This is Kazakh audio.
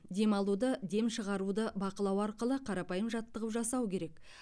дем алуды дем шығаруды бақылау арқылы қарапайым жаттығу жасау керек